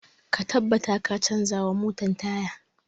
Ka tabbata ka canza wa motan taya!